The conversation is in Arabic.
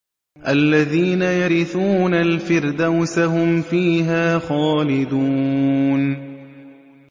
الَّذِينَ يَرِثُونَ الْفِرْدَوْسَ هُمْ فِيهَا خَالِدُونَ